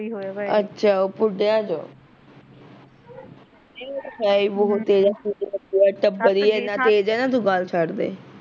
ਅੱਛਾ ਉਹ ਪੁਢਿਆ ਚੋ ਏਹ ਉਹ ਤਾਂ ਹੀਂ ਬਹੁਤ ਤੇਜ਼ ਐ, ਉਹ ਤਾਂ ਟੱਬਰ ਈ ਏਨਾਂ ਤੇਜ਼ ਐ ਤੂੰ ਗੱਲ ਛੱਡਦੇ